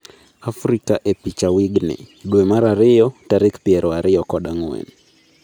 Afrika e picha wig ni: dwe mar ariyo tarik piero ariyo kod ang'wen